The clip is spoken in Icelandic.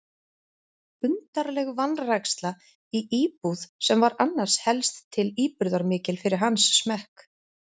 Undarleg vanræksla í íbúð sem var annars helst til íburðarmikil fyrir hans smekk.